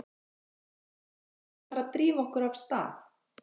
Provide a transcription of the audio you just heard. En eigum við ekki að fara að drífa okkur af stað?